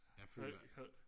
jeg føler ikke